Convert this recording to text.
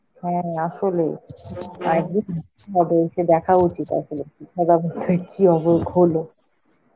হ্যাঁ, আসলে. একদিন এসে দেখা উচিত আসলে কি .